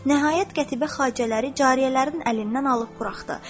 Nəhayət, qətibə xacələri cariyələrin əlindən alıb buraxdı.